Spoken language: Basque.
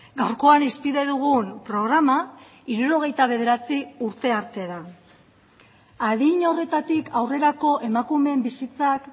gaurkoan hizpide dugun programa hirurogeita bederatzi urte arte da adin horretatik aurrerako emakumeen bizitzak